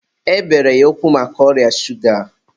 e bere ya ụkwụ maka ọrịa shuga